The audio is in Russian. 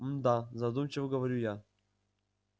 мм да задумчиво говорю я